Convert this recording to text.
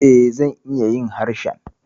E, zan iya yin harshen.